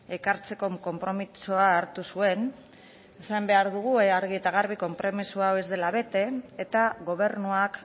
ekartzeko konpromisoa hartu zuen esan behar dugu argi eta garbi konpromiso hau ez dela bete eta gobernuak